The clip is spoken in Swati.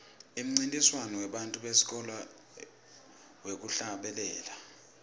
umncintiswano webantfwana besikolwa wekuhlabela